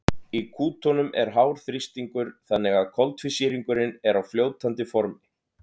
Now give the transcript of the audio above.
í kútunum er hár þrýstingur þannig að koltvísýringurinn er á fljótandi formi